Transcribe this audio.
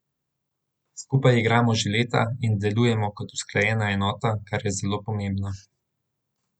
Skupaj igramo že leta in delujemo kot usklajena enota, kar je zelo pomembno.